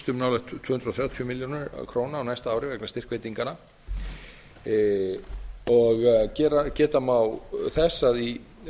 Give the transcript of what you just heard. um nálægt tvö hundruð þrjátíu milljónir króna á næsta ári vegna styrkveitinganna og geta má þess að í